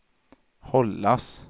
hållas